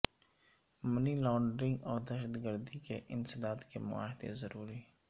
منی laundering اور دہشت گردی کے انسداد کے معاہدے ضروری